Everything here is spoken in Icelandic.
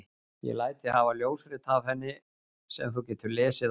Ég læt þig hafa ljósrit af henni sem þú getur lesið á eftir.